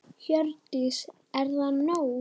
Hjördís: Er það nóg?